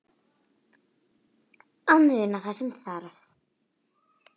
Að muna það sem þarf